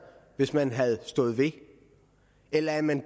hvis man havde stået ved det eller er man